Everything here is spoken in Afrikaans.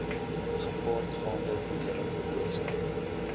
gepaardgaande probleme veroorsaak